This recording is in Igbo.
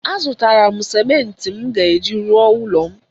A zụtara m simenti m ga-eji rụọ ụlọ m